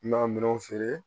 N ka minɛnw feere